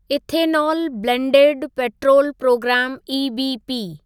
ethanol blended petrol प्रोग्रामु EBP